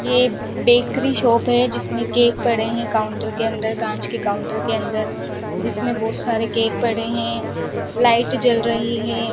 ये bakery shop है जिसमें केक पड़े हैं काउंटर के अंदर कांच के काउंटर के अंदर जिसमें बहुत सारे केक पड़े हैं लाइट जल रही है।